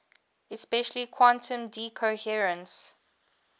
especially quantum decoherence